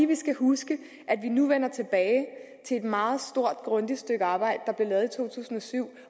vi skal huske at vi nu vender tilbage til et meget stort grundigt stykke arbejde der blev lavet i to tusind og syv